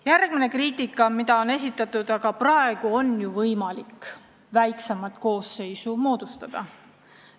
Järgmine kriitiline argument, mida on esitatud: aga praegu on ju ka võimalik väiksemat koosseisu moodustada.